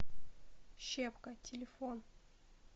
щепка телефон